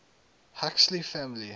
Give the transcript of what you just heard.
huxley family